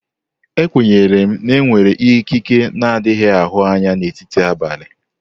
E kwenyere na enwere ikike n'adighi ahụ anya na etiti abalị.